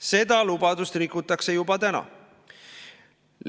Seda lubadust rikutakse juba täna.